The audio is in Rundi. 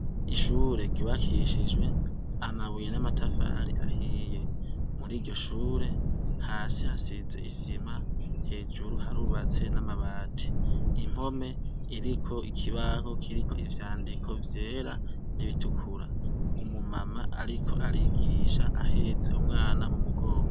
Ishure ryubakishijwe amabuye n'amatafari ahiye. Muri iryo shure, hasi hasize isima, hejuru harubatse n'amabati. Impome ziriko ikibaho kiriko ivyandiko vyera n'ibitukura. Umu mama ariko arigisha ahetse umwana mu mugongo.